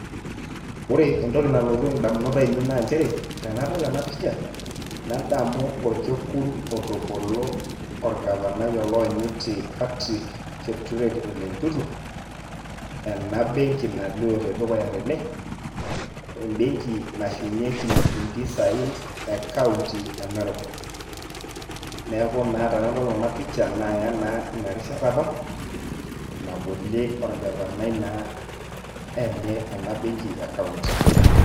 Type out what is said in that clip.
Ore entoki nalotu indamunot ainei naa njere, tenadol ena pisha, nadamu orkekun otobolo orgavai oloonyiti Patrick Keture Ole Ntutu, ena benki nalio tedukuya tene, ebenki nashumieki impisai ekaunti e Narok. Neeku naa tenadol ena pisha, naya naa inarishata apa, nabolie orgavanai naa, ena benki ekaunti.